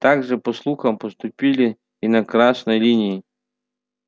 так же по слухам поступили и на красной линии